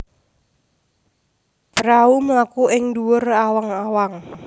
Prahu mlaku ing dhuwur awang awang